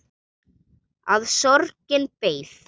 Að sorgin beið.